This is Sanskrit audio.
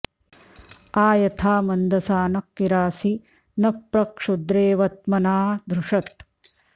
आ यथा॑ मन्दसा॒नः कि॒रासि॑ नः॒ प्र क्षु॒द्रेव॒ त्मना॑ धृ॒षत्